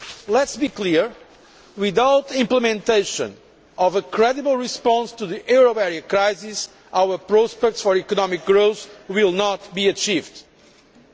Let us be clear without implementation of a credible response to the euro area crisis, our prospects for economic growth will not be realised.